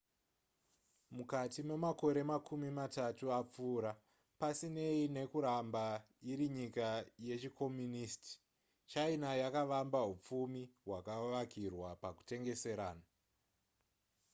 mukati memakore makumi matatu apfuura pasinei nekuramba iri nyika yechikomonisiti china yakavamba hupfumi hwakavakirwa pakutengeserana